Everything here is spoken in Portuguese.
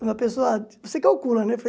Quando a pessoa... Você calcula, né?